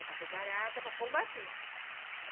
Eu estava preparada para combater.